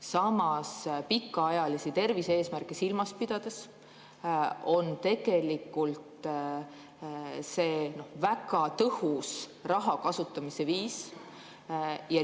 Samas, pikaajalisi tervise-eesmärke silmas pidades on see väga tõhus raha kasutamise viis.